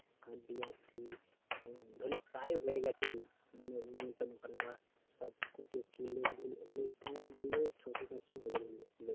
Card দিয়ে আসছি। ধরেনে প্রায় হয়ে গেছে মানে নিমন্ত্রণ করা বা সব কত লোক লোক প্রায় ধরেনে ছশো সাতশো হবে ধরেনে লোক